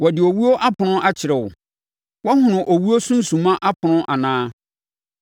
Wɔde owuo apono akyerɛ wo? Woahunu owuo sunsumma apono anaa?